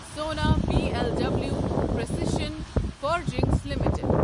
سونا B L W precision forgings limited